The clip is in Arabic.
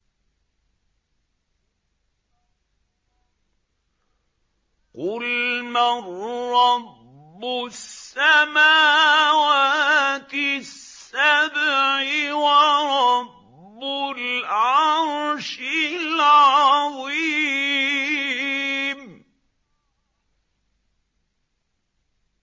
قُلْ مَن رَّبُّ السَّمَاوَاتِ السَّبْعِ وَرَبُّ الْعَرْشِ الْعَظِيمِ